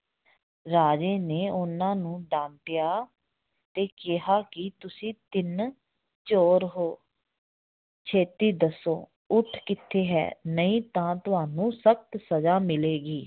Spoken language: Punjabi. ਰਾਜੇ ਨੇ ਉਹਨਾਂ ਨੂੰ ਡਾਂਟਿਆ ਤੇ ਕਿਹਾ ਕਿ ਤੁਸੀਂ ਤਿੰਨ ਚੋਰ ਹੋ ਛੇਤੀ ਦੱਸੋ ਊਠ ਕਿੱਥੇ ਹੈ ਨਹੀਂ ਤਾਂ ਤੁਹਾਨੂੰ ਸਖ਼ਤ ਸਜ਼ਾ ਮਿਲੇਗੀ